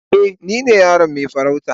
Eh, ni ne yaron mai farauta.